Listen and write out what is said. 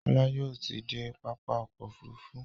kola yóò tí dé pápá ọkọ̀ òfurufú.